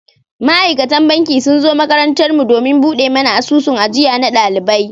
Ma'aikatan banki sun zo makarantar mu domin buɗe mana asusun ajiya na ɗalibai.